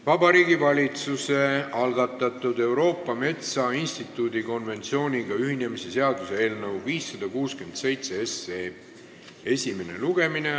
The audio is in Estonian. Vabariigi Valitsuse algatatud Euroopa Metsainstituudi konventsiooniga ühinemise seaduse eelnõu 567 esimene lugemine.